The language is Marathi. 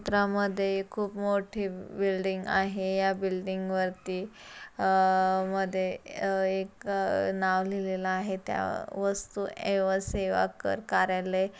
चित्रामध्ये खूप मोठी बिल्डिंग आहे. ह्या बिल्डिंग वरती अह मध्ये अह एक नाव लिहलेला आहे. त्या वस्तु एव सेवाकर कार्यालय--